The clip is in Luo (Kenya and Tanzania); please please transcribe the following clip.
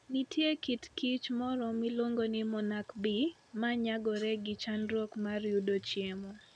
Nitie kit kich moro miluongo ni monarch bee, ma nyagore gi chandruok mar yudo chiemo.